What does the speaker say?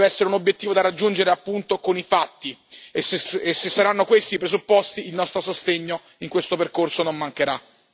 Deve essere un obiettivo da raggiungere appunto con i fatti e, se saranno questi i presupposti, il nostro sostegno in questo percorso non mancherà.